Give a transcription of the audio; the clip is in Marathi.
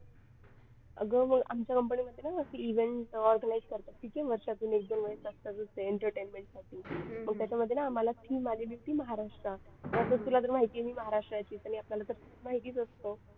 अगं आमच्या company मध्ये ना असं event organise करतात वर्षातून एक दोन वेळेस असतात entertainment साठी मग त्याच्यामध्ये ना आम्हाला theme आली होती महाराष्ट्र तुला तर माहिती आहे मी महाराष्ट्राचीच आणि आपल्याला तर माहितीच असतं